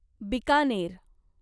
Bikaner